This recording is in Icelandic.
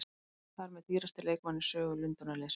Hann er þar með dýrasti leikmaðurinn í sögu Lundúnarliðsins.